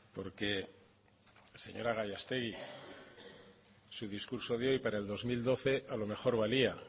porque señora gallastegui su discurso de hoy para el dos mil doce a lo mejor valía